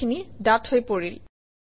কথাখিনি ডাঠ হৈ পৰিল